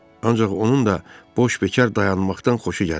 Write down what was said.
Ancaq onun da boş bekər dayanmaqdan xoşu gəlirdi.